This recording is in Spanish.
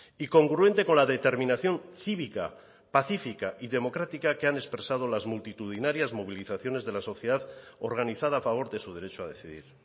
y congruente con la determinación cívica pacífica y democrática que han expresado las multitudinarias movilizaciones de la sociedad organizada a favor de su derecho a decidir